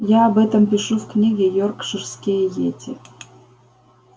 я об этом пишу в книге йоркширские йети